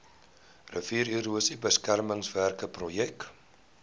riviererosie beskermingswerke projek